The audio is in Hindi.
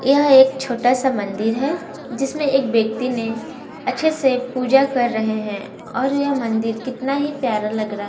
यह एक छोटा सा मंदिर है जिसमें एक व्यक्ति ने अच्छे से पूजा कर रहे हैं और यह मंदिर कितना ही प्यारा लग रहा--